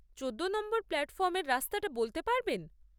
চোদ্দো নম্বর প্ল্যাটফর্মের রাস্তাটা বলতে পারবেন?